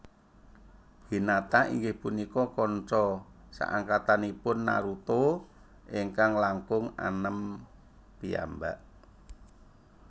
Hinata inggih punika kanca saangkatanipun Naruto ingkang langkung anem piyambak